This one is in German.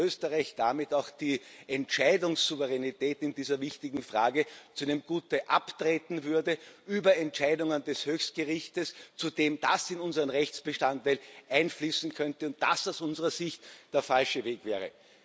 Österreich würde damit auch die Entscheidungssouveränität in dieser wichtigen Frage zu einem Gutteil abtreten, auch in Bezug auf Entscheidungen des Höchstgerichts, zudem das in unseren Rechtsbestand einfließen könnte und das aus unserer Sicht der falsche Weg wäre.